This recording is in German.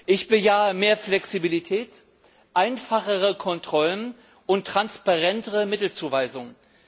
Ich bejahe mehr Flexibilität, einfachere Kontrollen und transparentere Mittelzuweisungen.